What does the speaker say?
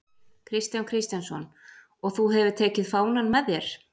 Kristján Kristjánsson: Og þú hefur tekið fánann með þér?